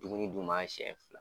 Dumuni d'u ma sɛn fila.